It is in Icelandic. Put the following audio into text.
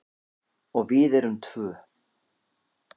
Og við erum tvö.